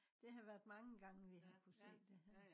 det har været mange gange vi har kunne se det her